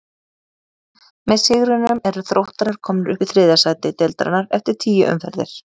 Með sigrinum eru Þróttarar komnir upp í þriðja sæti deildarinnar eftir tíu umferðir.